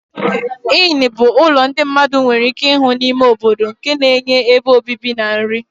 Inn ụlọ ndị mmadụ nwere ike ịhụ n'ime obodo nke na-enye ebe obibi na nri.